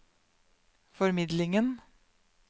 formidlingen